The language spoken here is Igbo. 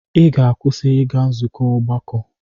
Ị ga-akwụsị ịga nzukọ ọgbakọ!